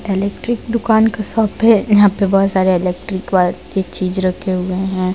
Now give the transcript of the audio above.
electric दुकान की shop है यहां पे बहुत सारे इलेक्ट्रिक वायर के चीज रखे हुए--